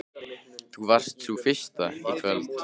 Þú varst sú fyrsta í kvöld.